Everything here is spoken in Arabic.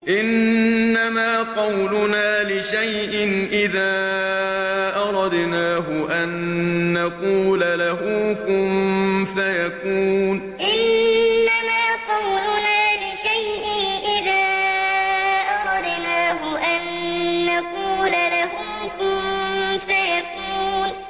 إِنَّمَا قَوْلُنَا لِشَيْءٍ إِذَا أَرَدْنَاهُ أَن نَّقُولَ لَهُ كُن فَيَكُونُ إِنَّمَا قَوْلُنَا لِشَيْءٍ إِذَا أَرَدْنَاهُ أَن نَّقُولَ لَهُ كُن فَيَكُونُ